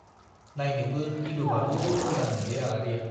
नाइनोबो गिलु-बालु मोजांमोनलै आलारिया।